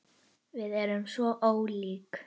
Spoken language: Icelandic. Við erum svo ólík.